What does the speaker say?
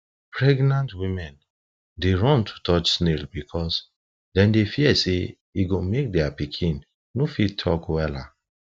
pregnant women dey run to touch snails because them dey fear say e go make their pikin no fit talk wella